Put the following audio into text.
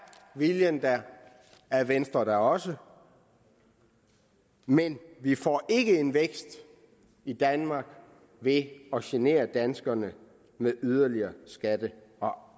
viljen der er venstre der også men vi får ikke en vækst i danmark ved at genere danskerne med yderligere skatter og